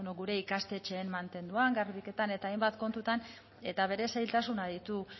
gure ikastetxeen mantenduan garbiketan eta hainbat kontuetan eta bere zailtasunak ditu